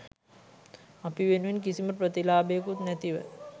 අපි වෙනුවෙන් කිසිම ප්‍රතිලාභයකුත් නැතිව